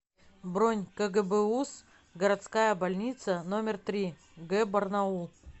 бронь кгбуз городская больница номер три г барнаул